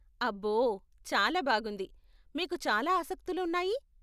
అబ్బో, చాలా బాగుంది, మీకు చాలా ఆసక్తులు ఉన్నాయి.